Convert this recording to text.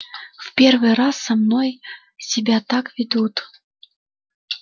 в первый раз со мной себя так ведут